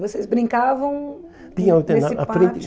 Vocês brincavam nesse pátio?